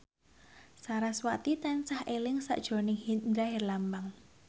sarasvati tansah eling sakjroning Indra Herlambang